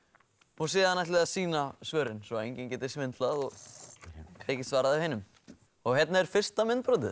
og síðan ætlið þið að sýna svörin svo enginn geti svindlað og tekið svarið af hinum hérna er fyrsta myndbrotið